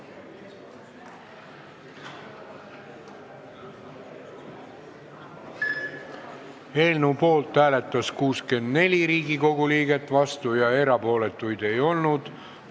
Hääletustulemused Eelnõu poolt hääletas 64 Riigikogu liiget, vastu ja erapooletu ei olnud keegi.